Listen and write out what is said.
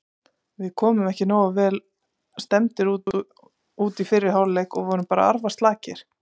Við komum ekki nógu vel stemmdir út í fyrri hálfleik og vorum bara arfaslakir.